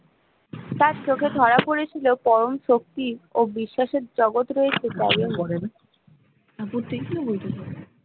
তার চোখে ধরা পড়েছিল পরম শক্তি অ বিশ্বাসের জগত রয়েছে